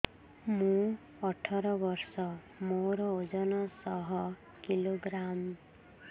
ମୁଁ ଅଠର ବର୍ଷ ମୋର ଓଜନ ଶହ କିଲୋଗ୍ରାମସ